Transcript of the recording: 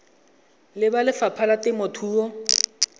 le ba lefapha la temothuo